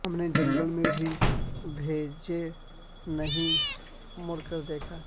ہم نے جنگل میں بھی پیچھے نہیں مڑ کر دیکھا